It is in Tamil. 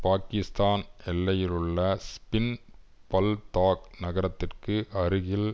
பாகிஸ்தான் எல்லையிலுள்ள ஸ்பின் பல்தாக் நகரத்திற்கு அருகில்